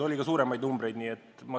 Oli ka kõrgemaid hindu.